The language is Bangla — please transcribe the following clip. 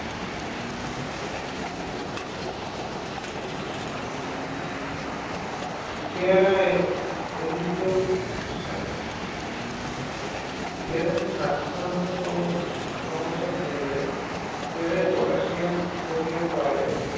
পেয়ারা হৃদরোগ সারে পেয়ারা খেলে হৃদ যন্ত্রসহ সমস্যা কমে যায় পেয়ারায় পটাশিয়াম সোডিয়াম পাওয়া যায়